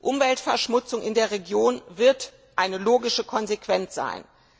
Umweltverschmutzung in der Region wird eine logische Konsequenz sein.